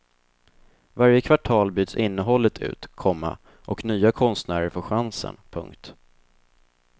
Varje kvartal byts innehållet ut, komma och nya konstnärer får chansen. punkt